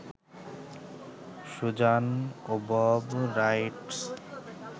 Suzanne ওবব rights